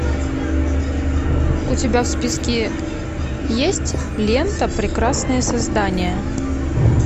у тебя в списке есть лента прекрасное создание